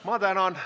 Ma tänan!